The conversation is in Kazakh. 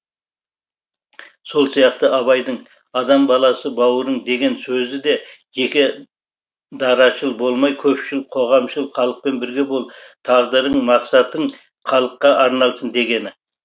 сол сияқты абайдың адам баласы бауырың деген сөзі де жеке дарашыл болмай көпшіл қоғамшыл халықпен бірге бол тағдырың мақсатың халыққа арналсын дегені